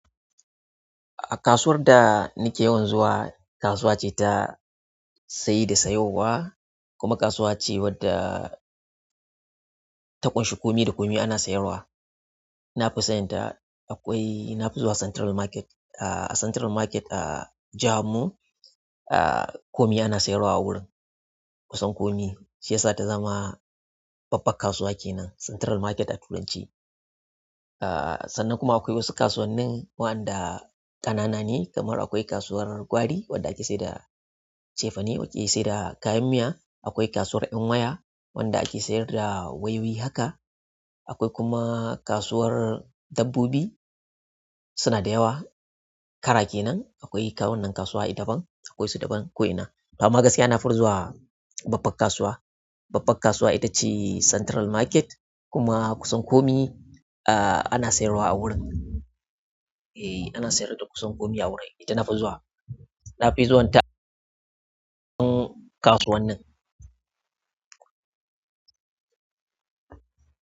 A kasuwar da nike yawan zuwa, kasuwa ce ta saye da sayuwa kuma kasuwa ce wadda ta ƙunshi komi da komi ana sayarwa. Nafi zuwa central market ah, a Central Market a jaharmu, ah, komi ana sayarwa a wurin. Kusan komi, shi yasa ta zama babban kasuwa kenan Central Market a Turanci. Ah, sannan kuma akwai wasu kasuwannin waɗanda ƙanana ne kamar akwai kasuwar gwari wadda ake sayar da cefane ake seyarda kayan miya. Akwai kasuwar ƴan waya wanda ake sayar da wayoyi haka. Akwai kuma kasuwar dabbobi, suna da yawa. Ƙara kenan akwai wannan kasuwa idaban, akwai su daban ko'ina. Amma gaskiya na fi zuwa babban kasuwa. Babban kasuwa ita ce Central Market kuma kusan komi, ah, ana sayarwa a wurin. E, ana sayar da kusan komi a wurin, ita na fi zuwa. Na fi so yin ta kasuwannin.